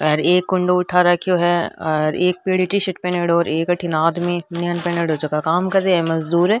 एक कुंडो उठा राखो है और एक पीली टी-शर्ट पेहेनेडो एक अठीने आदमी बनियान पेरेडो जकां काम कर रहा है मजदुर।